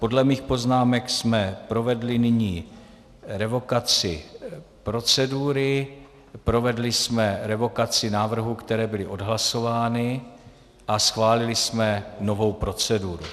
Podle mých poznámek jsme provedli nyní revokaci procedury, provedli jsme revokaci návrhů, které byly odhlasovány, a schválili jsme novou proceduru.